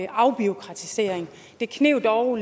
afbureaukratisering det kneb dog